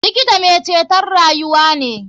Likita mai ceton rayuwa ne.